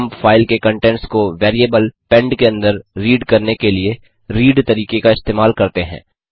हम फाइल के कंटेंट्स को वैरिएबल पेंड के अंदर रीड करने के लिए रीड तरीके का इस्तेमाल करते हैं